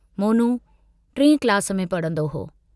मोनू टिएं क्लास में पढ़ंदो हो।